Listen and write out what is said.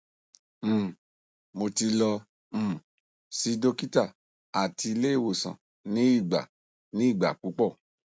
um mo ti lọ um si dokita ati ile iwosan ni igba ni igba pupọ